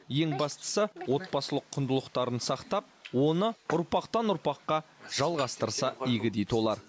ең бастысы отбасылық құндылықтарын сақтап оны ұрпақтан ұрпаққа жалғастырса игі дейді олар